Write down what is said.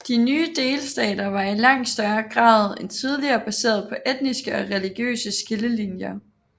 De nye delstater var i langt større grad end tidligere baseret på etniske og religiøse skillelinjer